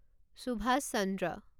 Subhash Chandra